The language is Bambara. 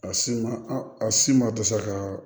A si ma a si ma dɛsɛ ka